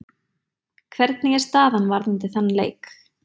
Hvernig er staðan varðandi þann leik?